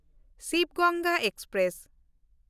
Shiv Ganga express